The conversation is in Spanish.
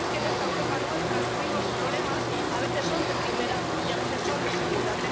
¿O es que en esta Europa nuestra los mismos problemas a veces son de primera y a veces son de segunda?